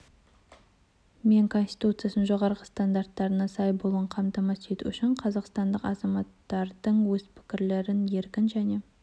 мен конституциясының жоғары стандарттарына сай болуын қамтамасыз ету үшін қазақстандық азаматтардың өз пікірлерін еркін және